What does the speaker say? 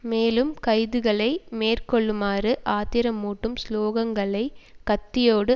மேலும் கைதுகளை மேற்கொள்ளுமாறு ஆத்திரமூட்டும் சுலோகங்களை கத்தியோடு